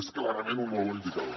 és clarament un molt bon indicador